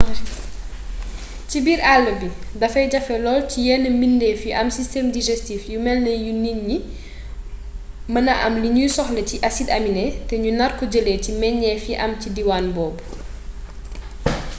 ci biir àll bi dafay jafe lool ci yenn mbidéef yu am système digestif yu melni yu nit ñi ñu mêna am li ñuy soxla ci acide aminé te ñu narko jëlee ci meññeef yi am ci diwaan boobu